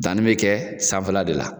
Danni bɛ kɛ sanfɛ la de la.